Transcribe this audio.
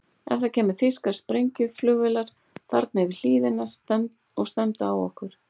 Ef það kæmu þýskar sprengjuflugvélar þarna yfir hlíðina og stefndu á okkur?